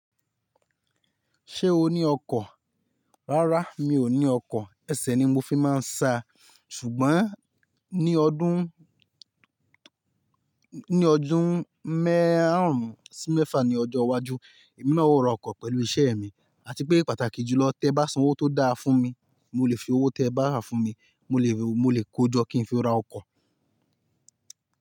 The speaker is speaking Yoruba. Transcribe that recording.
Ṣé o ní ọkọ̀? Rárá mi ò ní ọkọ̀, ẹsẹ̀ ni mo fi máa ń sá, ṣùgbọ́n ní ọdún, méàrún sí mẹ́fà ní ọjọ́ iwájú, èmi náà ó ra ọkọ̀ pẹ̀lú iṣẹ́ mi, àti pé pàtàkì jù lọ, tẹ́ bá san owó tó dáa fún mi, mo lè fi owó tẹ́ bá fún mi, mo lè, mo lè kojọ́ kí n fi ra ọkọ̀